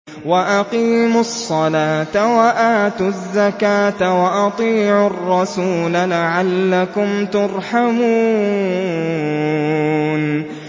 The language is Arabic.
وَأَقِيمُوا الصَّلَاةَ وَآتُوا الزَّكَاةَ وَأَطِيعُوا الرَّسُولَ لَعَلَّكُمْ تُرْحَمُونَ